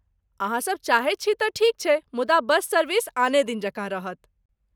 अहाँसब चाहैत छी तँ ठीक छै, मुदा बस सर्विस आने दिन जकाँ रहत।